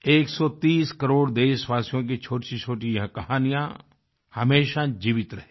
130 करोड़ देशवासियों की छोटीछोटी यह कहानियाँ हमेशा जीवित रहेंगी